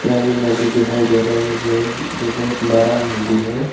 यह अभी नदी दिखाई दे रहा है मुझे जो बहोत बरा नदी है।